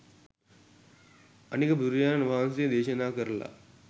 අනික බුදුරජානන් වහන්සේත් දේශනා කරලා